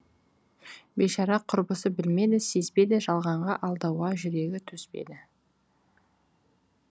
бейшара құрбысы білмеді сезбеді жалғанға алдауға жүрегі төзбеді